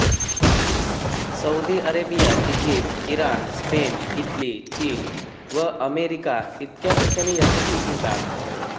Saudi Arabia Egypt Iran Spain Italy चीन व America इतक्या ठिकाणी याचे पीक घेतात